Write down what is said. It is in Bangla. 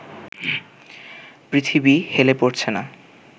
পৃথিবী হেলে পড়ছে না